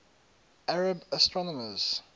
arab astronomers